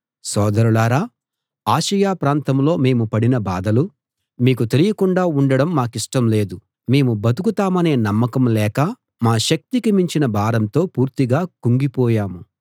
సోదరులారా ఆసియ ప్రాంతంలో మేము పడిన బాధలు మీకు తెలియకుండా ఉండడం మాకిష్టం లేదు మేము బతుకుతామనే నమ్మకం లేక మా శక్తికి మించిన భారంతో పూర్తిగా కుంగిపోయాము